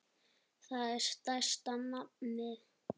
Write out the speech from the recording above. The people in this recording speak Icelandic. Það er stærsta nafnið.